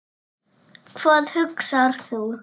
Hvað hugsar þú?